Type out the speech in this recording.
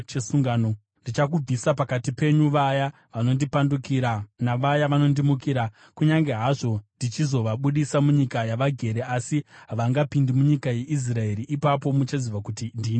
Ndichakubvisa pakati penyu vaya vanondipandukira navaya vanondimukira. Kunyange hazvo ndichizovabudisa munyika yavagere, asi havangapindi munyika yeIsraeri. Ipapo muchaziva kuti ndini Jehovha.